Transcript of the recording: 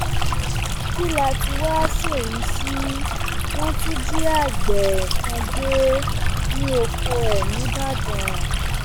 kí láá tí wàá ṣèyí sí wọn tún jí àgbẹ kan gbé nínú oko ẹ nìbàdàn